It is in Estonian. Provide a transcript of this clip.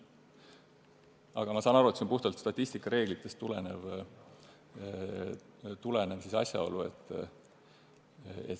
Aga ma saan aru, et see on puhtalt statistikareeglitest tulenev asjaolu.